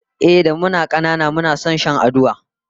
Ehh, da muna kanana muna son shan aduwa